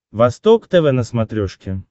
восток тв на смотрешке